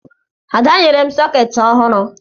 Ada nyere m sọkeetị ọhụrụ